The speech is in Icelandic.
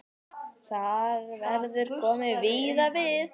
Þar verður komið víða við.